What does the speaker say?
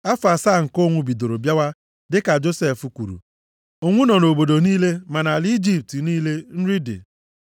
Afọ asaa nke ụnwụ bidoro bịawa dịka Josef kwuru. Ụnwụ nọ nʼobodo niile, ma nʼala Ijipt niile nri dị.